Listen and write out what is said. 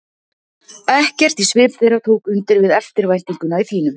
Ekkert í svip þeirra tók undir við eftirvæntinguna í þínum.